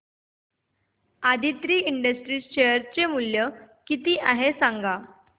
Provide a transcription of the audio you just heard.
Aditri industries चे share मूल्य किती आहे सांगा